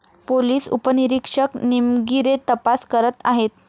Police उपनिरीक्षक निमगीरे तपास करत आहेत.